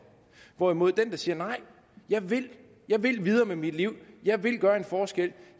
hvorimod der der siger nej jeg vil jeg vil videre med mit liv jeg vil gøre en forskel